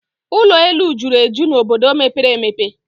Ụlọ elu juru eju n'obodo mepere emepe